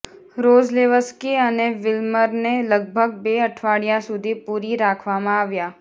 Rozlewski અને વિલમરને લગભગ બે અઠવાડિયાં સુધી પૂરી રાખવામાં આવ્યા